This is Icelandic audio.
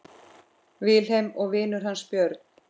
Vilhelm og vinur hans Björn.